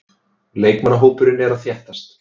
Leikmannahópurinn er að þéttast.